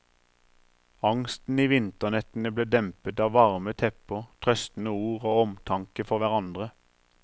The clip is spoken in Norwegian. Angsten i vinternettene ble dempet av varme tepper, trøstende ord og omtanke for hverandre.